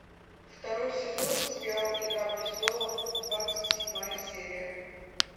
второй сезон сериал игра престолов двадцать седьмая серия